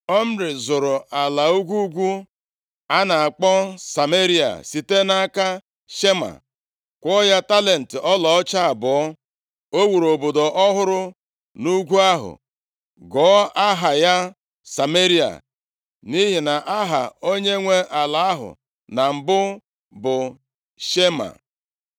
Omri zụrụ ala ugwu ugwu a na-akpọ Sameria site nʼaka Shema, kwụọ ya talenti ọlaọcha abụọ. O wuru obodo ọhụrụ nʼugwu ahụ gụọ aha ya Sameria, nʼihi na aha onyenwe ala ahụ na mbụ bụ Shema.